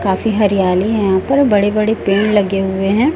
काफी हरियाली है यहां पर बड़े बड़े पेड़ लगे हुए हैं।